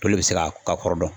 Toli bɛ se ka ka kɔrɔ dɔn.